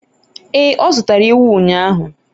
ee, o zụtara ewu ụnyahụ